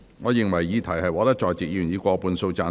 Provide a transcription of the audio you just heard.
我認為議題獲得在席議員以過半數贊成。